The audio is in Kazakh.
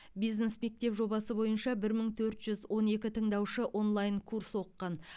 бизнес мектеп жобасы бойынша бір мың төрт жүз он екі тыңдаушы онлайн курс оқыған